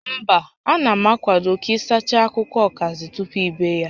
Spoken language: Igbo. Mba, a na m akwado ka ị sachaa akwụkwọ ọkazị tupu i bee ya